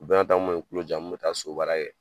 O bɛɛ n'a ta n kun be n tulo ja n kun be taa so baara kɛ